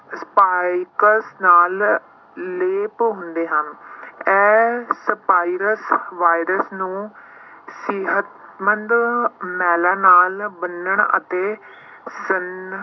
spikes ਨਾਲ ਲੇਪ ਹੁੰਦੇ ਹਨ ਇਹ spikes ਵਾਇਰਸ ਨੂੰ ਸਿਹਤਮੰਦ ਨਾਲ ਬੰਨਣ ਅਤੇ ਸਨ~